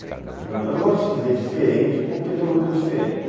Eu não gosto de dizer diferente porque todo mundo é diferente.